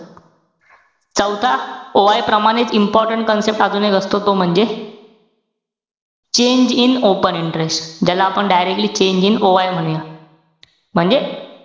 चौथा, OI प्रमाणेच important अजून एक असतो. तो म्हणजे, change in open interest ज्याला आपण directly change in OI म्हणूया. म्हणजे.